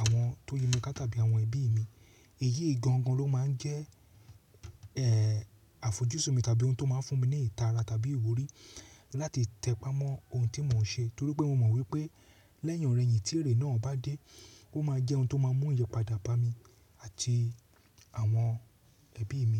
àwọn tó yi mi ká tàbí àwọn ẹbí mi. Èyí gan-an gan-an ló máa ń jẹ́ ẹ, àfojúsùn mi tàbí ohun tó máa ń fún mi ní ìtara tàbí ìwúrí láti tẹpá mọ́ ohun tí mò ń ṣe. Torí pé mo mọ wípé lẹ́yìn ìrẹ̀yìn tí èrè náà bá dé, ó máa jẹ́ ohun tó máa mú ìyẹ́padà bá mi àti àwọn ẹbí mi.